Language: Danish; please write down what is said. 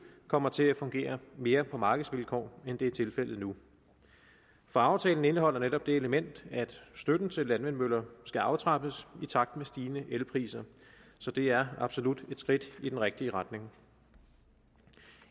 kommer til at fungere mere på markedsvilkår end det er tilfældet nu for aftalen indeholder netop det element at støtten til landvindmøller skal aftrappes i takt med stigende elpriser så det er absolut et skridt i den rigtige retning